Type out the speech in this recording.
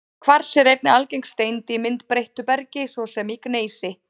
Kvars er einnig algeng steind í myndbreyttu bergi, svo sem í gneisi.